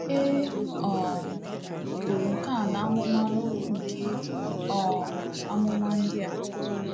E um buru nke a n’amụma n’okwu nke um amụma ndị a.